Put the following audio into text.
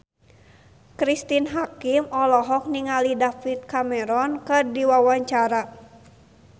Cristine Hakim olohok ningali David Cameron keur diwawancara